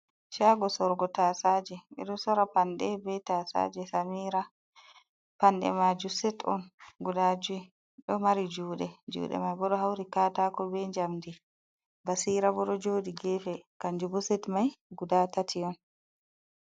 Shago sorugo tasaje ɓeɗo sora panɗe ɓe tasaje samira, panɗe majum set on guda jui ɗo mari juɗe juɗe mai bo ɗo hauri katako be jamdi, basira bo ɗo joɗi gefe kanjum bo set mai guda tati on.